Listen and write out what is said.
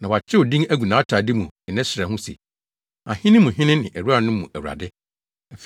Na wɔakyerɛw din agu nʼatade mu ne ne srɛ ho se, Ahene mu Hene ne Awuranom mu Awurade.